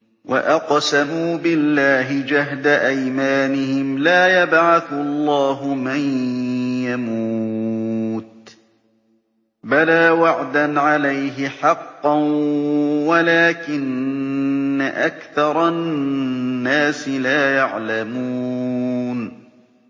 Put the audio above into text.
وَأَقْسَمُوا بِاللَّهِ جَهْدَ أَيْمَانِهِمْ ۙ لَا يَبْعَثُ اللَّهُ مَن يَمُوتُ ۚ بَلَىٰ وَعْدًا عَلَيْهِ حَقًّا وَلَٰكِنَّ أَكْثَرَ النَّاسِ لَا يَعْلَمُونَ